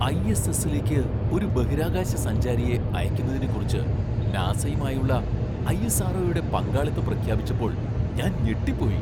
ഐ.എസ്.എസ്സിലേക്ക് ഒരു ബഹിരാകാശ സഞ്ചാരിയെ അയക്കുന്നതിനെക്കുറിച്ച് നാസയുമായുള്ള ഐ.എസ്.ആർ.ഒ.യുടെ പങ്കാളിത്തം പ്രഖ്യാപിച്ചപ്പോൾ ഞാൻ ഞെട്ടിപ്പോയി!